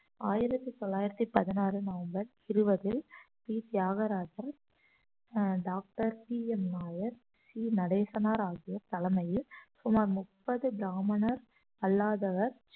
ஆயிரத்தி தொள்ளாயிரத்தி பதினாறு நவம்பர் இருபதில் ஸ்ரீ தியாகராஜர் ஆஹ் doctor P M Nair C Natesanar ஆகியோர் தலைமையில் சுமார் முப்பது பிராமணர் அல்லாதவர்